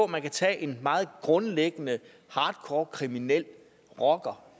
man kan tage en meget grundlæggende hardcore kriminel rocker